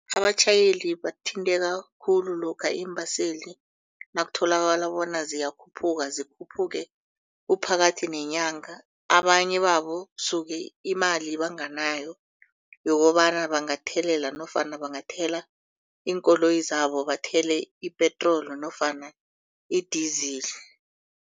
Abatjhayeli bathinteka khulu lokha iimbaseli nakutholakala bona ziyakhuphuka zikhuphuke kuphakathi neenyanga. Abanye babo suke imali banganayo yokobana bangathelela nofana bangathela iinkoloyi zabo bathele ipetroli nofana idizili.